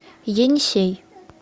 енисей